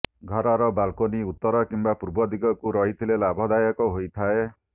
ଘରର ବାଲକୋନି ଉତ୍ତର କିମ୍ବା ପୂର୍ବ ଦିଗକୁ ରହିଥିଲେ ଲାଭଦାୟକ ହୋଇଥାଏ